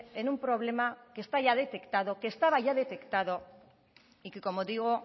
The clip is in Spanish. en un problema que está ya detectado que estaba ya detectado y que como digo